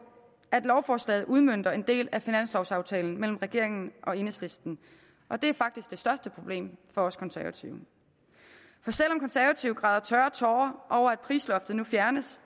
at lovforslaget udmønter en del af finanslovaftalen mellem regeringen og enhedslisten og det er faktisk det største problem for os konservative for selv om konservative græder tørre tårer over at prisloftet nu fjernes